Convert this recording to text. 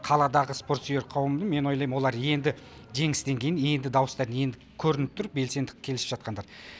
қаладағы спорт сүйер қауымды мен ойлайм олар енді жеңістен кейін енді дауыстарын енді көрініп тұр белсенді келісіп жатқандары